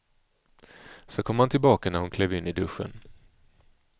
Så kom han tillbaka när hon klev in i duschen.